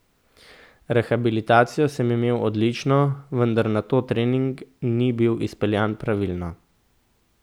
Rehabilitacijo sem imel odlično, vendar nato trening ni bil izpeljan pravilno.